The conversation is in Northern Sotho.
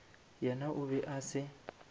yena o be a se